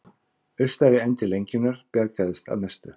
Austari endi lengjunnar bjargaðist að mestu